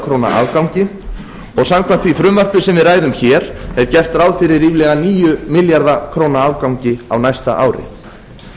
króna afgangi og samkvæmt því frumvarpi sem við ræðum hér er gert ráð fyrir ríflega níu milljarða króna afgangi á næsta